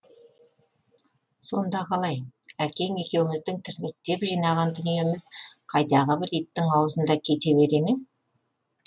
сонда қалай әкең екеуміздің тірнектеп жинаған дүниеміз қайдағы бір иттің аузында кете бере ме